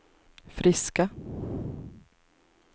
friska